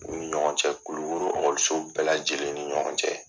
U ni ɲɔgɔn cɛ. Kulukoro bɛɛ lajɛlen ni ɲɔgɔn cɛ.